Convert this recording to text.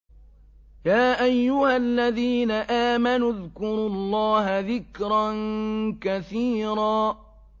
يَا أَيُّهَا الَّذِينَ آمَنُوا اذْكُرُوا اللَّهَ ذِكْرًا كَثِيرًا